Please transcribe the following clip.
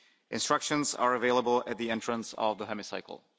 Instructions are available at the entrance of the Hemicycle.